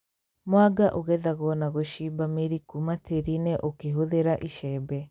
Mwanga ũgethagwo na gũcimba mĩri kũma tĩĩri-inĩ ũkĩhũthĩra icembe